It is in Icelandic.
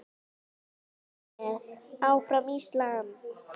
Ég er með, áfram Ísland.